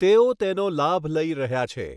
તેઓ તેનો લાભ લઈ રહ્યા છે.